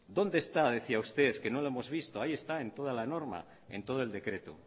dónde está decía usted que no lo hemos visto ahí está en toda la norma en todo el decreto